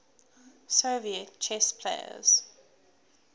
soviet chess players